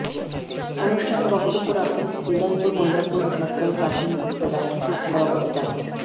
অনুষ্ঠানে বক্ত্যব রাখেন নিদনপুর মোল্লাপুর সরকারী প্রাথমিক বিদ্যালয়ের সভাপতি ডা